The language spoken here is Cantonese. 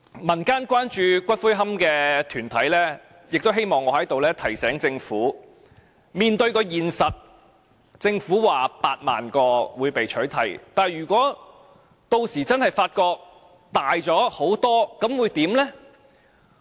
民間關注骨灰龕的團體亦希望我在此提醒政府面對現實，政府估計有8萬個龕位會被取締，但如果屆時真的發覺數目大很多，又會怎樣？